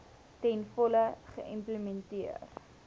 ten volle geïmplementeer